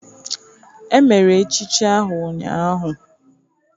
Emere echichi ahụ ụnyahụ.